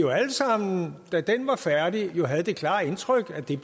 sammen da den var færdig havde det klare indtryk at det